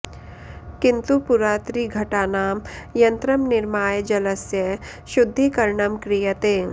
किन्तु पुरा त्रिघटानां यन्त्रं निर्माय जलस्य शुद्धीकरणं क्रियते